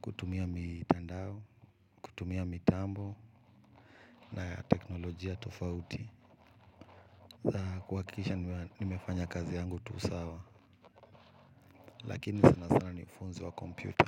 kutumia mitandao, kutumia mitambo, na ya teknolojia tufauti, za kuhakikisha nimefanya kazi yangu tu sawa, lakini sana sana ni funzo wa kompyuta.